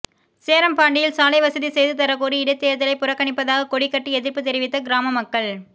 சேரம்பாடியில் சாலை வசதி செய்து தரக்கோரி இடைத்தேர்தலை புறக்கணிப்பதாக கொடி கட்டி எதிர்ப்பு தெரிவித்த கிராம மக்கள்